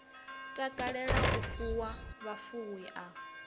takalela u fuwa vhufuwi a